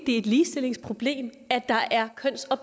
et ligestillingsproblem her